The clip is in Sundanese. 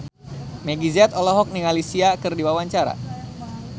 Meggie Z olohok ningali Sia keur diwawancara